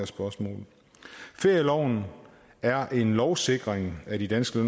spørgsmål ferieloven er en lovsikring af de danske